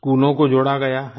स्कूलों को जोड़ा गया है